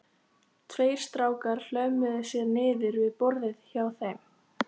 Tveir strákar hlömmuðu sér niður við borðið hjá þeim